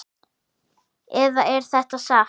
Eða er þetta satt?